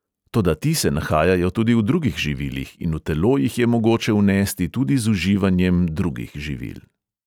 Toda ti se nahajajo tudi v drugih živilih in v telo jih je mogoče vnesti tudi z uživanjem drugih živil.